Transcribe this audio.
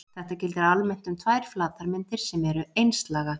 Þetta gildir almennt um tvær flatarmyndir sem eru einslaga.